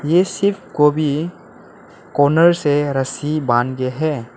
इस शिप को भी कॉर्नर से रस्सी बांधे हैं।